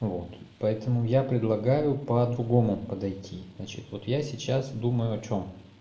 вот поэтому я предлагаю по-другому подойти значит вот я сейчас думаю о чём